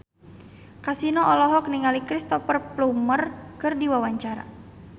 Kasino olohok ningali Cristhoper Plumer keur diwawancara